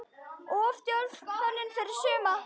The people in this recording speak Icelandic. Of djörf hönnun fyrir suma?